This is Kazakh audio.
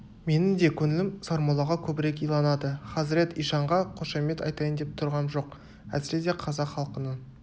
менің де көңілім сармоллаға көбірек иланады хазірет ишанға қошемет айтайын деп тұрғам жоқ әсіресе қазақ халқының